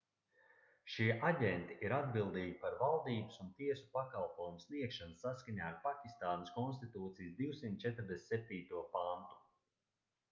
šie aģenti ir atbildīgi par valdības un tiesu pakalpojumu sniegšanu saskaņā ar pakistānas konstitūcijas 247. pantu